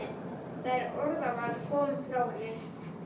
Það orðaval kom frá henni.